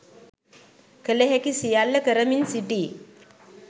කල හැකි සියල්ල කරමින් සිටී